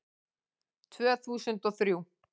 Tvö þúsund og þrjú